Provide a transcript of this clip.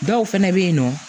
Dɔw fɛnɛ bɛ yen nɔ